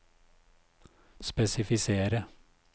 spesifisere